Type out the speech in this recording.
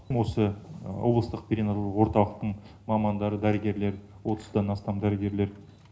осы облыстық перинаталдық орталықтың мамандары дәрігерлер отыздан астам дәрігерлер